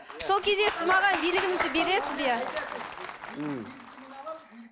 сол кезде сіз маған билігіңізді бересіз бе м